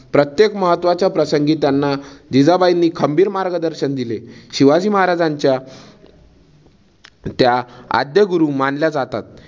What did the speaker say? प्रत्येक महत्वाच्या प्रसंगी त्यांना जिजाबाईंनी खंबीर मार्गदर्शन दिले. शिवाजी महाराजांच्या त्या आद्य गुरु मानल्या जातात.